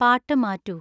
പാട്ട് മാറ്റൂ